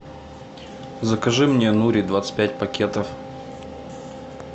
закажи мне нури двадцать пять пакетов